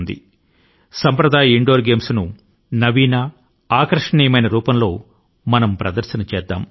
భారతీయ సంప్రదాయం ఇంటి ఆటల ను కొత్త రూపాల లో ఆకర్షణీయమైన రూపాలలో ఆవిష్కరిద్దాము